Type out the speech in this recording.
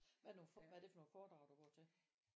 Hvad det nogen hvad det for nogen foredrag du går til?